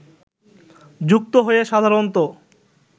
যুক্ত হয়ে সাধারণত